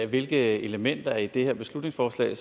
hvilke elementer i det her beslutningsforslag